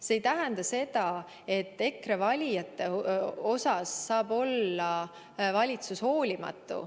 See ei tähenda seda, et valitsus saaks EKRE valijate vastu olla hoolimatu.